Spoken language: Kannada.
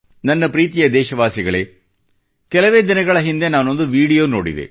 ನನ್ನ ಪ್ರೀತಿಯ ದೇಶವಾಸಿಗಳೇ ಕೆಲವೇ ದಿನಗಳ ಹಿಂದೆ ನಾನೊಂದು ವಿಡಿಯೋ ನೋಡಿದೆ